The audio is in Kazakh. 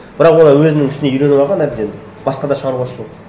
бірақ олар өзінің ісіне үйреніп алған әбден басқада шаруасы жоқ